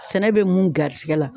Sɛnɛ bɛ mun garisɛgɛ la